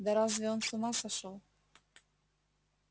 да разве он с ума сошёл